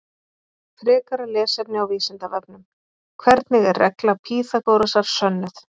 Frekara lesefni á Vísindavefnum: Hvernig er regla Pýþagórasar sönnuð?